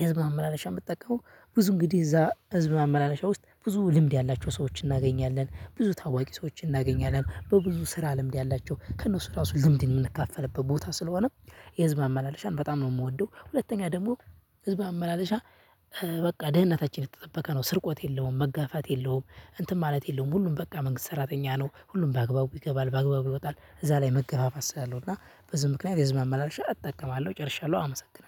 የህዝብ አመላለሻ እምትጠቀመው ብዙ እንግዲህ እዛ ህዝብ ማመላለሻ ውስጥ ብዙ ልምድ ያላቸው ሰዎችን እናገኛለን ብዙ ታዋቂ ሰዎችን እናገኛለን በብዙ ስራ ልምድ ያላቸው ከእነሱ ራሱ ዝምድን እምንካፍልበት ቦታ ስለሆነ። የህዝብ መማላለሻን በጣም ነው እምወደው። ሁለተኛ ደግሞ ህዝብ አመላለሻ። በቃ ደህንነታችን የተጠበቀ ነው ስርቆት የለውም መጋፋት የለውም እንትን ማለት የለውም። ሁሉም በቃ መንግስት ሰራተኛ ነው ሁሉም በአግባቡ ይገባል በአግባቡ ይወጣል እዛ ላይ መገፋፋት ስላለው እና በዚህ ምክንያት የህዝብ ማመላለሻ አመ እጠቀማለሁ ጨርሻለሁ አመሰግናለሁ